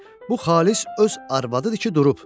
Bu xalis öz arvadıdır ki, durub.